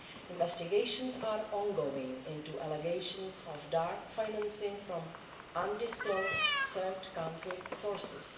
Investigations are ongoing into allegations of dark financing from undisclosed third country sources.